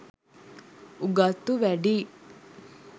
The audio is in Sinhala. උගත්තු වැඩියි